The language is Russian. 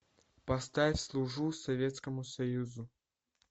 поставь служу советскому союзу